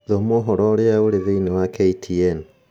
Thoma ũhoro ũrĩa ũrĩ thĩinĩ wa k. t. n